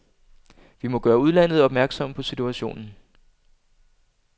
Vi må gøre udlandet opmærksom på situationen.